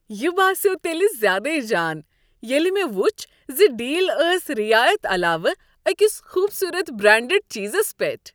یہ باسیٛوو تیٚلہ زیادے جان ییٚلہ مےٚ ؤچھ ز ڈیل ٲس رعایت علاوٕ أکس خوبصورت، برانڈڈ چیزس پیٹھ۔